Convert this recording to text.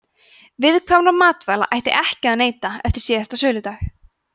viðkvæmra matvæla ætti ekki að neyta eftir síðasta söludag